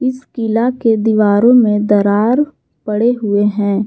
किला के दीवारों में दरार पड़े हुए हैं।